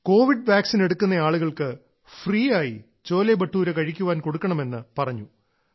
Covid vaccine എടുക്കുന്ന ആളുകൾക്ക് ഫ്രീയായി ചോലെബട്ടൂര കഴിക്കാൻ കൊടുക്കണമെന്ന് പറഞ്ഞു